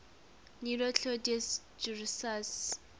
nero claudius drusus